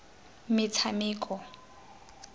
metshameko